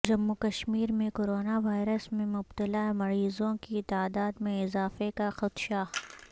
جموں کشمیر میں کوروناوائرس میں مبتلاء مریضوں کی تعداد میں اضافے کا خدشہ